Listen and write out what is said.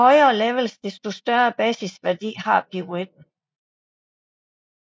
Jo højere levels desto større basisværdi har piruetten